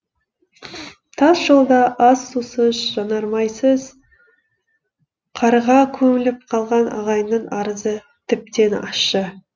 тас жолда ас сусыз жанармайсыз қарға көміліп қалған ағайынның арызы тіптен ащы